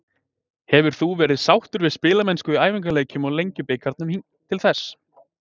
Hefur þú verið sáttur við spilamennskuna í æfingaleikjum og Lengjubikarnum til þessa?